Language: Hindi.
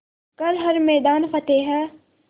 कर हर मैदान फ़तेह